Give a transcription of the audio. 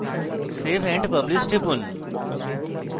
save and publish টিপুন